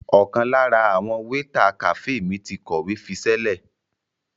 Ọ̀kan lára àwọn wéétà kàféè mi ti kọ̀wé fiṣẹ́lẹ̀.